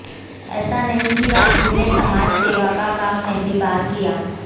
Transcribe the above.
ऐसा नहीं कि राजू ने समाजसेवा का काम पहली बार किया